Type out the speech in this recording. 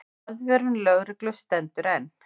Aðvörun lögreglu stendur enn.